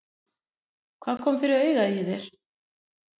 Hvað kom fyrir augað á þér?